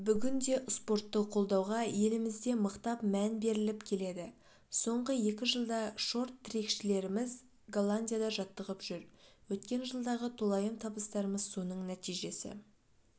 бүгінде спортты қолдауға елімізде мықтап мән беріліп келеді соңғы екі жылда шорт-трекшілеріміз голландияда жаттығып жүр өткен жылдағы толайым табыстарымыз соның нәтижесі